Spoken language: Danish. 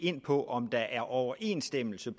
på om der er overensstemmelse